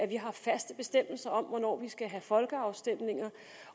vi har faste bestemmelser om hvornår vi skal have folkeafstemninger